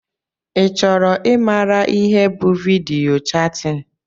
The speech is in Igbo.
i chọrọ i maara ihe bụ vidiyo chatin?